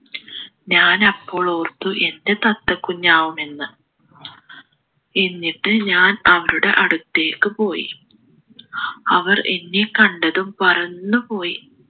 ഞാൻ അപ്പോൾ ഓർത്തു എൻ്റെ തത്ത കുഞ്ഞാവും എന്ന് എന്നിട്ട് ഞാൻ അവരുടെ അടുത്തേക്ക് പോയി അവർ എന്നെ കണ്ടതും പറന്നുപോയി